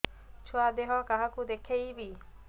ଛୁଆ ଦେହ କାହାକୁ ଦେଖେଇବି